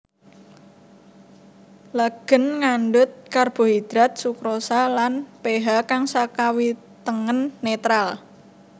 Legen ngandhut karbohidrat sukrosa lan pH kang sakiwatengen netral